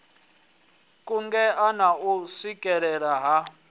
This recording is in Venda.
kungela na u swikelea ha